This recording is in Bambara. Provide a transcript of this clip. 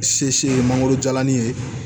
Se se ye mangoro jalanin ye